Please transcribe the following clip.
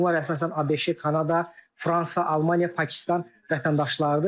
Bunlar əsasən ABŞ, Kanada, Fransa, Almaniya, Pakistan vətəndaşları idi.